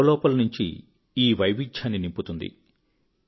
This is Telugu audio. మీలో లోపలనుంచి ఈ వైవిధ్యాన్ని నింపుతుంది